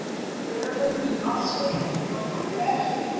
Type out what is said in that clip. lögum um ársreikninga númer